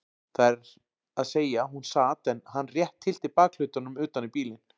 Það er að segja hún sat en hann rétt tyllti bakhlutanum utan í bílinn.